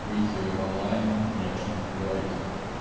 выйти в онлайн и о чём-то поговорить